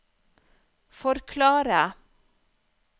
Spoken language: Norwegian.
forklare